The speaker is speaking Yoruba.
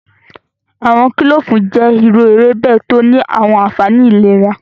Awọn kilofu jẹ iru ewebe to ni awọn anfani ilera.